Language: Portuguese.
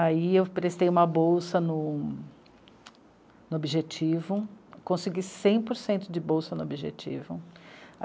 Aí eu prestei uma bolsa no Objetivo, consegui cem por cento de bolsa no Objetivo.